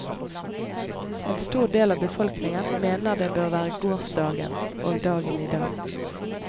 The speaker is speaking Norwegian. En stor del av befolkningen mener det bør være gårsdagen og dagen i dag.